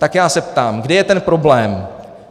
Tak já se ptám, kde je ten problém.